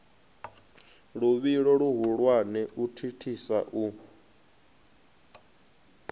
luvhilo luhulwane u thithisa u